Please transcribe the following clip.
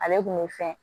Ale kun bɛ fɛn